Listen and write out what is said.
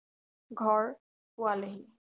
ঘৰ পোৱালেহি